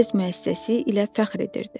O öz müəssisəsi ilə fəxr edirdi.